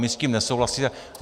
My s tím nesouhlasíme.